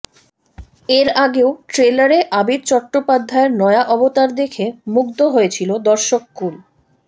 এর আগেও ট্রেলারে আবির চট্টোপাধ্যায়ের নয়া অবতার দেখে মুগ্ধ হয়েছিল দর্শককূল